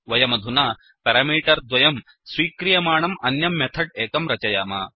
वयमधुना पेरामीटर्द्वयं स्वीक्रियमाणम् अन्यं मेथड् एकं रचयाम